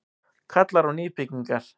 Kallar á nýbyggingar